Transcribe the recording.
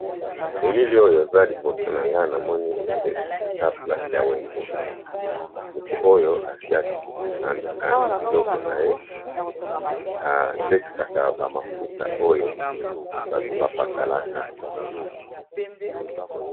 Elili oyo eza liboso na nga na moni eza place ya wenze. Moto oyo asi andikandi biloko na ye atekisaka bamafuta oyo bato bapakalaka